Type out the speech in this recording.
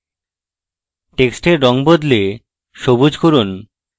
টেক্সটের রঙ বদলে সবুজ করুন